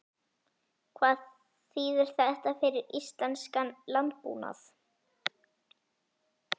Hvað þýðir þetta fyrir íslenskan landbúnað?